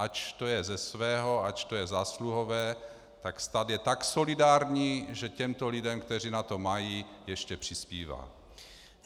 Ač je to ze svého, ač to je zásluhové, tak stát je tak solidární, že těmto lidem, kteří na to mají, ještě přispívá.